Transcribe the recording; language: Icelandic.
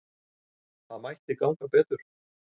Það mætti ganga betur.